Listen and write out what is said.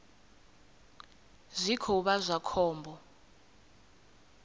zwi khou vha zwa khombo